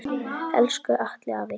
Elsku Atli afi.